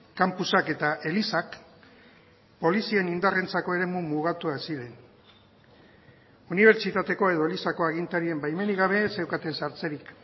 kanpusak eta elizak polizien indarrentzako eremu mugatuak ziren unibertsitateko edo elizako agintarien baimenik gabe ez zeukaten sartzerik